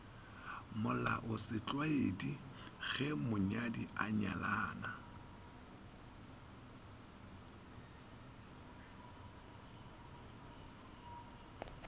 molaosetlwaedi ge monyadi a nyalana